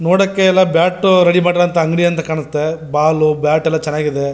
ನೋಡಕೆ ಎಲ್ಲ bat ready ಮಾಡಿರುವಂತ ಅಂಗಡಿ ಅಂತ ಕಾಣುತ್ತೆ ಬಾಲ್ ಬ್ಯಾಟ್ ಎಲ್ಲ ಚೆನ್ನಾಗಿದೆ.